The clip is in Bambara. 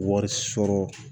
Wari sɔrɔ